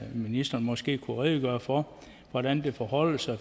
ministeren måske kunne redegøre for hvordan det forholder sig